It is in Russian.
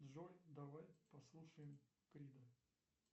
джой давай послушаем крида